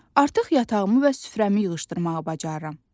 Artıq yatağımı və süfrəmi yığışdırmağı bacarıram.